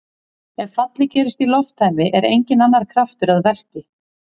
Ef fallið gerist í lofttæmi er enginn annar kraftur að verki.